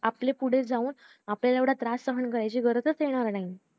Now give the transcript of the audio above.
आपल्याला पुढे जाऊन आपल्याला एवढा त्रास सहन करण्याची गरज पडणार नाही